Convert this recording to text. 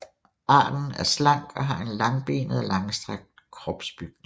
Arten er slank og har en langbenet og langstrakt kropsbygning